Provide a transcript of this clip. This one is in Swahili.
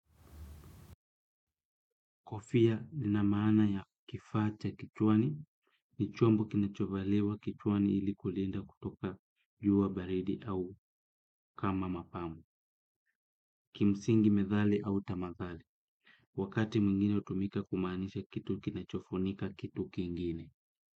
Kofia lina maana ya kifaa cha kichwani, ni chombo kinachovaliwa kichwani ili kulinda kutoka jua baridi au kama mapamu, kimsingi medhali au tamathali, wakati mwingine hutumika kumaanisha kitu kinachofunika kitu kingine.